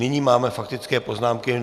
Nyní máme faktické poznámky.